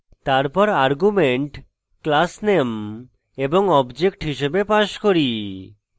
তারপর arguments class _ name এবং object হিসেবে pass করি